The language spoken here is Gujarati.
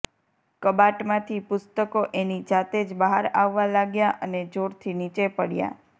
કબાટમાંથી પુસ્તકો એની જાતે જ બહાર આવવા લાગ્યાં અને જોરથી નીચે પડયાં